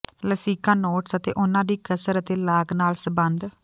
ਲਸਿਕਾ nodes ਅਤੇ ਉਨ੍ਹਾਂ ਦੀ ਕਸਰ ਅਤੇ ਲਾਗ ਨਾਲ ਸੰਬੰਧ